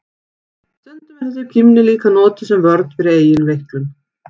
Stundum er þessi kímni líka notuð sem vörn fyrir eigin veiklun.